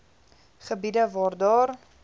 gebiede waar daar